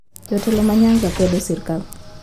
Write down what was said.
Jotelo ma nyanza kwedo sirkal